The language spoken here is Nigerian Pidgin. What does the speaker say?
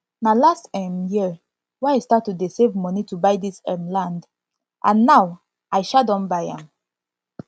na last um year wey i start to dey save money to buy dis um land and now i um don buy am